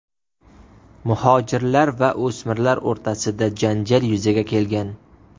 Muhojirlar va o‘smirlar o‘rtasida janjal yuzaga kelgan.